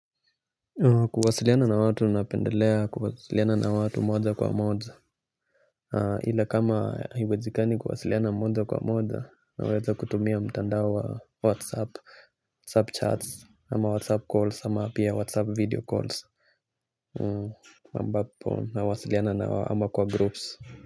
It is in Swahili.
Kuwasiliana na watu napendelea kuwasiliana na watu moja kwa moja ila kama haiwezikani kuwasiliana moja kwa moja naweza kutumia mtandao wa whatsapp whatsapp chats ama whatsapp calls ama pia whatsapp video calls ambapo nawasiliana na wao ama kwa groups.